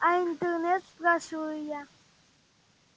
а интернет спрашиваю я